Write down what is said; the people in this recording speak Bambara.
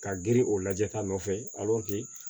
Ka girin o lajɛ ta nɔfɛ